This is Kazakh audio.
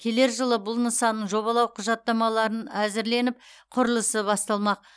келер жылы бұл нысанның жобалау құжаттамаларын әзірленіп құрылысы басталмақ